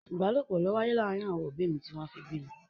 Ìbálòpọ̀ ló wáyé láàárín àwọn òbí mi tí wọ́n fi bí mi.